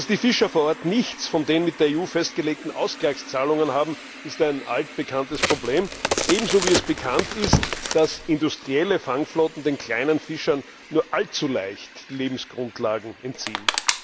Dass die Fischer vor Ort nichts von den mit der EU festgelegten Ausgleichszahlungen haben, ist ein altbekanntes Problem, ebenso wie es bekannt ist, dass industrielle Fangflotten den kleinen Fischern nur allzu leicht die Lebensgrundlagen entziehen.